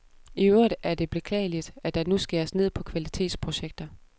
I øvrigt er det beklageligt, at der nu skæres ned på kvalitetsprojekter.